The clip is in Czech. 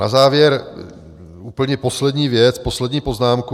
Na závěr úplně poslední věc, poslední poznámku.